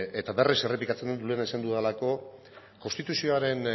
eta berriz errepikatzen lehen esan dudalako konstituzioaren